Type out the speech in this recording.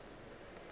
ba be ba rata go